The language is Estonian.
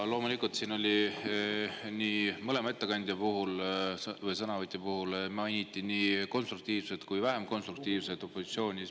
Mõlema sõnavõtja puhul mainiti nii konstruktiivset kui ka vähem konstruktiivset opositsiooni.